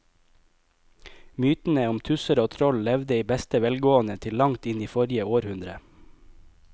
Mytene om tusser og troll levde i beste velgående til langt inn i forrige århundre.